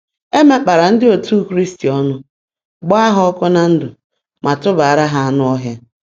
E mekpara ndị otu Kraịst ọnụ, gbaa ha ọkụ na ndụ, ma tụbaara ha anụ ọhịa.